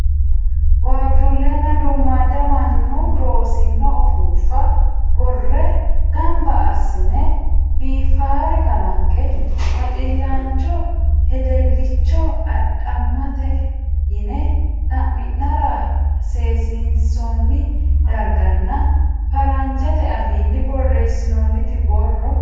Waajjuullenna duummaadda mannu loosino ufuuffa boorre gamba assine biifaare kalanqe baxillaancho hedeelcho adhamattae yine xa'mi'nara seesiinsoonni darganna faranjete afiinni borreessantino boorro.